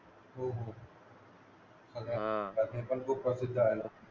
हा ते पण खूप प्रसिद्ध आहे ना